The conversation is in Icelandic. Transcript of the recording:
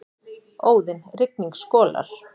Óðinn: Rigning skolar.